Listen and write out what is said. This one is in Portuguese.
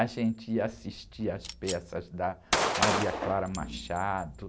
A gente ia assistir às peças da Maria Clara Machado.